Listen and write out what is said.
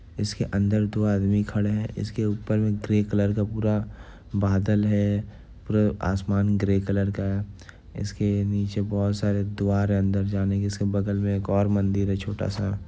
इसके अंदर दो आदमी खड़े हैं| इस के ऊपर में ग्रे कलर का पूरा बादल है पूरा आसमान ग्रे कलर का है| इसके नीचे बहुत सारे द्वार है अंदर जाने इसके बगल में एक और मन्दिर है छोटा-सा।